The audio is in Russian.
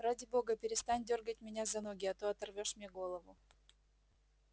ради бога перестань дёргать меня за ноги а то оторвёшь мне голову